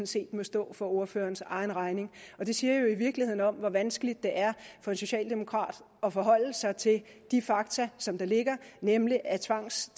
set må stå for ordførerens egen regning og det siger jo i virkeligheden noget om hvor vanskeligt det er for en socialdemokrat at forholde sig til de fakta som der ligger nemlig at